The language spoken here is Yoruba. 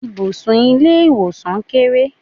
Ibùsùn ilé ìwòsàn kéré.